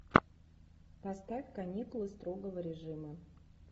поставь каникулы строгого режима